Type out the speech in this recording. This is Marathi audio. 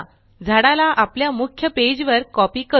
झाडाला आपल्या मुख्य पेज वर कॉपी करू